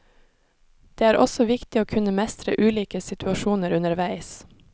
Det er også viktig å kunne mestre ulike situasjoner underveis.